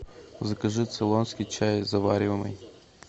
закажи цейлонский чай завариваемый